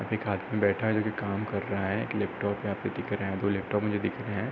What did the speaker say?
एक आदमी बैठा है जोकि काम कर रहा है। एक लैपटॉप यहाँ पे दिख रहा है। दो लैपटॉप मुझे दिख रहे हैं।